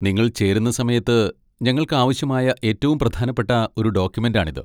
നിങ്ങൾ ചേരുന്ന സമയത്ത് ഞങ്ങൾക്ക് ആവശ്യമായ ഏറ്റവും പ്രധാനപ്പെട്ട ഒരു ഡോക്യുമെന്റാണിത്.